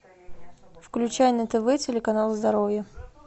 включай на тв телеканал здоровье